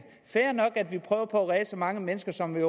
fair nok at vi prøver på at redde så mange mennesker som vi